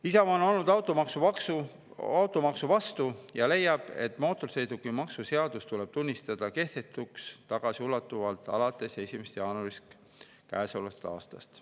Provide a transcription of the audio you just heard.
Isamaa on olnud automaksu vastu ja leiab, et mootorsõidukimaksu seadus tuleb tunnistada kehtetuks tagasiulatuvalt alates 1. jaanuarist käesolevast aastast.